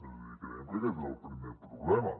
és a dir creiem que aquest és el primer problema